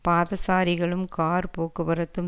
பாதசாரிகளும் car போக்குவரத்தும்